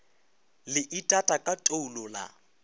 le itata ka toulo la